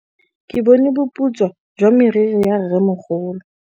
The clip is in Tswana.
Ke bone boputswa jwa meriri ya rrêmogolo.